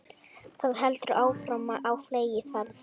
Það heldur áfram á fleygiferð